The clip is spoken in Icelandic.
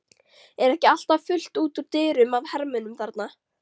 Er ekki alltaf fullt út úr dyrum af hermönnum þarna?